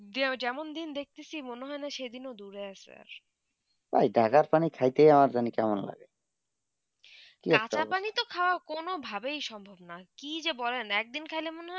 যেমন দিন দেখতে চি মনে হয়ে সেই দিন দূরে আছে ঐই ঢাকার পানি খেতে আমার কেমন লাগে ঢাকার পানি তো খৰা কোনো ভাবে সম্ভব না কি যে বলেন এক দিন খেলে